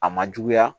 A ma juguya